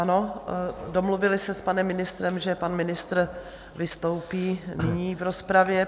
Ano, domluvili se s panem ministrem, že pan ministr vystoupí nyní v rozpravě.